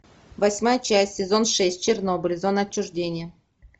восьмая часть сезон шесть чернобыль зона отчуждения